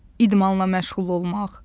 İdmanla məşğul olmaq.